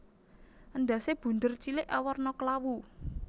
Endhasé bunder cilik awarna klawu